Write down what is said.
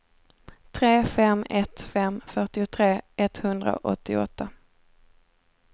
tre fem ett fem fyrtiotre etthundraåttioåtta